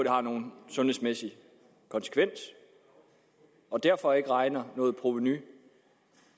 har nogen sundhedsmæssig konsekvens og derfor ikke regner noget provenu